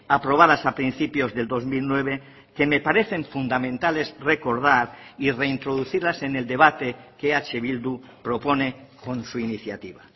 aprobadas a principios del dos mil nueve que me parecen fundamentales recordar y reintroducirlas en el debate que eh bildu propone con su iniciativa